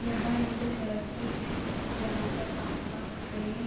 यहाँ एक चर्च है जहाँ पर आस-पास कई--